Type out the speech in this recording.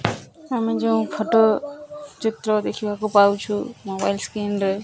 ଆମେ ଯୋଉ ଫଟୋ ଚିତ୍ର ଦେଖିବାକୁ ପାଉଛୁ ମୋବାଇଲ ସ୍କ୍ରିନ ରେ --